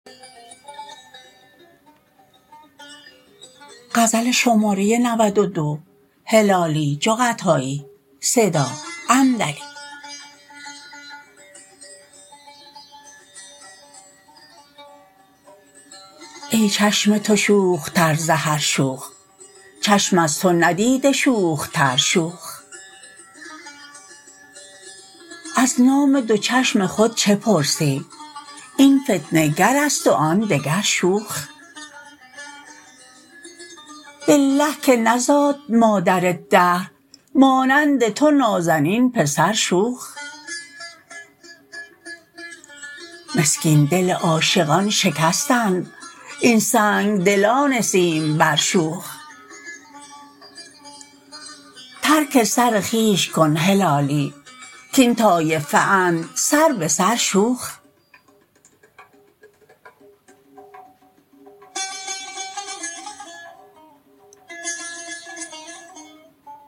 ای چشم تو شوخ تر ز هر شوخ چشم از تو ندیده شوخ تر شوخ از نام دو چشم خود چه پرسی این فتنه گرست و آن دگر شوخ بالله که نزاد مادر دهر مانند تو نازنین پسر شوخ مسکین دل عاشقان شکستند این سنگدلان سیمبر شوخ ترک سر خویش کن هلالی کین طایفه اند سر بسر شوخ